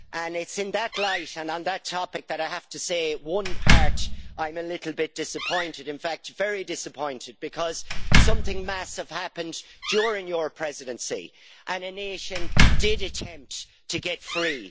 It is in that light and on that topic that I have to say that there is one part I am a little bit disappointed about, in fact very disappointed, because something massive happened during your Presidency and a nation did attempt to get free.